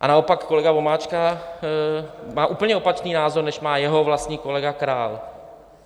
A naopak kolega Vomáčka má úplně opačný názor, než má jeho vlastní kolega Král.